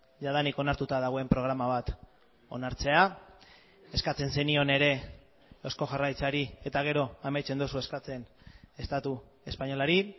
jadanik onartuta dagoen programa bat onartzea eskatzen zenion ere eusko jaurlaritzari eta gero amaitzen duzu eskatzen estatu espainolari